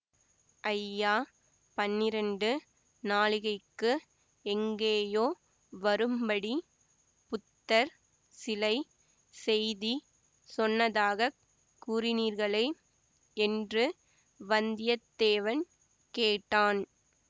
ஐயா பன்னிரண்டு நாழிகைக்கு எங்கேயோ வரும்படி புத்தர் சிலை செய்தி சொன்னதாக கூறினீர்களே என்று வந்தியத்தேவன் கேட்டான்